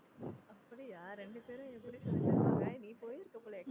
அப்படியா ரெண்டு பெரும் எப்படி சொல்லி தருவாங்க நீ போயிருக்க போல